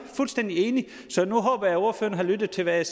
fuldstændig enig så nu håber jeg ordføreren har lyttet til hvad